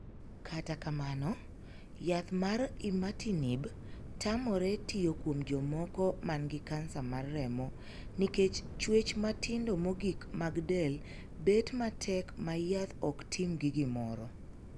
Kata kamano, yath mar 'imatinib' tamore tiyo kuom jomoko man gi kansa mar remo nikech chuech matindo mogik mag del bet matek ma yath ok timgi gimoro.